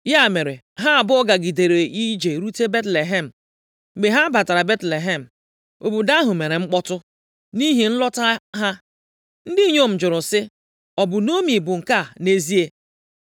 Ya mere, ha abụọ gagidere ije rute Betlehem. Mgbe ha batara Betlehem, obodo ahụ mere mkpọtụ, nʼihi nlọta ha. Ndị inyom jụrụ sị, “Ọ bụ Naomi bụ nke a nʼezie?”